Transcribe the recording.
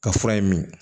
Ka fura in min